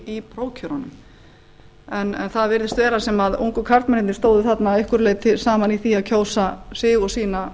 í prófkjörunum en það virðist vera sem að ungu karlmennirnir stæðu þarna að einhverju leyti saman um að það kjósa sig og sína